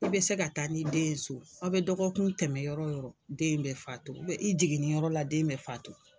I bɛ se ka taa n'i den so aw bɛ dɔgɔkun tɛmɛn yɔrɔ o yɔrɔ den in bɛ faatu i jiginni yɔrɔ la den bɛ faatu.